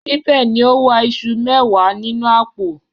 Nibẹ ni o wa isu mẹwa ninu apo